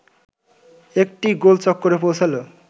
একটি গোলচক্করে পৌছালো